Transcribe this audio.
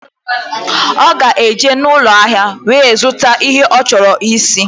Ọ ga-eje n'ụlọahịa wee zụta ihe ọ chọrọ isi.